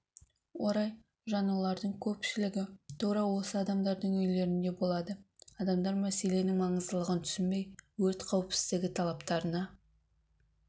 орай жанулардың көпшілігі тура осы адамдардың үйлерінде болады адамдар мәселенің маңыздылығын түсінбей өрт қауіпсіздігі талаптарына